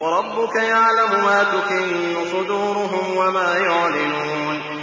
وَرَبُّكَ يَعْلَمُ مَا تُكِنُّ صُدُورُهُمْ وَمَا يُعْلِنُونَ